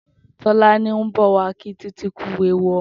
Tolani n bọ wà kí Titi kù éwú ọmọ